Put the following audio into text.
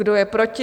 Kdo je proti?